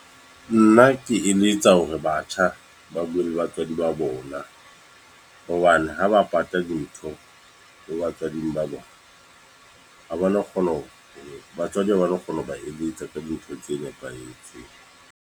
Nna ke eletsa hore batjha ba bue le batswadi ba bona. Hobane ha ba pata dintho, ho batswading ba bona. Ha ba no kgona hore batswadi ba ha no kgona ho ba eletsa ka dintho tse nepahetseng.